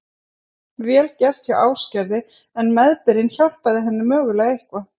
Vel gert hjá Ásgerði en meðbyrinn hjálpaði henni mögulega eitthvað.